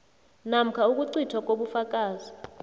namkha ukucithwa kobufakazi